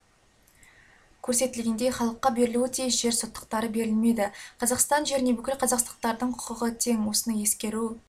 көрсетілгендей халыққа берілуі тиіс жер соттықтары берілмеді қазақстан жеріне бүкіл қазақстандықтардың құқығы тең осыны ескеру